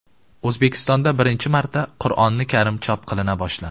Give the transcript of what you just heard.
O‘zbekistonda birinchi marta Qur’oni Karim chop qilina boshladi .